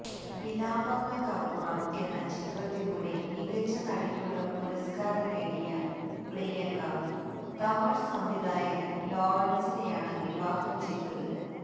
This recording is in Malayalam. വിലാപങ്ങള്ക്കപ്പുറം എന്ന ചിത്രത്തിലൂടെ മികച്ച നടിയ്ക്കുള്ള പുരസ്കാരം നേടിയ പ്രിയങ്ക തമിഴ് സംവിധായകന് ലോറന്സിനെയാണ് വിവാഹം ചെയ്തത്